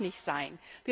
Das darf nicht sein!